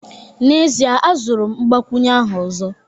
N'ezie, azụrụ m mgbakwunye ahụ ọzọ